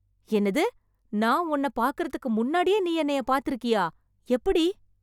என்னது, நான் உன்ன பார்க்கிறதுக்கு முன்னாடியே நீ என்னைய பார்த்திருக்கியா! எப்படி!